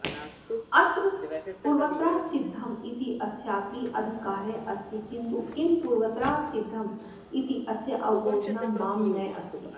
अत्र पूर्वत्रासिद्धम् इत्यस्यापि अधिकारः अस्ति किन्तु किं पूर्वत्रासिद्धम् इत्यस्यावबोधनं मां नास्ति